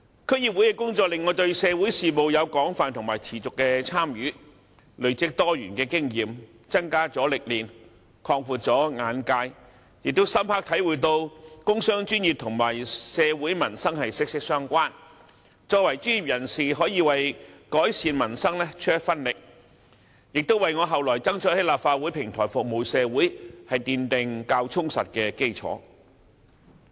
區議會的工作令我對社會事務有廣泛和持續的參與，累積多元的經驗，增加了歷練，擴闊了眼界，亦深刻體會到工商專業與社會民生息息相關，作為專業人士可以為改善民生出一分力，亦為我後來爭取在立法會的平台服務社會奠定較充實的基礎。